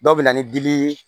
Dɔw bɛ na ni dili ye